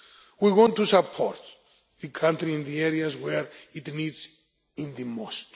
We want to support the country in the areas where it needs it the most.